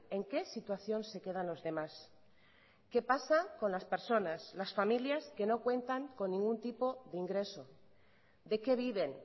en qué situación se quedan los demás qué pasa con las personas las familias que no cuentan con ningún tipo de ingreso de qué viven